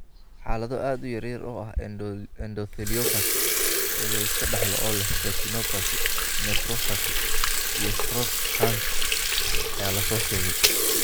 Xaalado aad u yar oo ah endotheliopathy ee la iska dhaxlo oo leh retinopathy, nephropathy, iyo stroke (HERNS) ayaa la soo sheegay.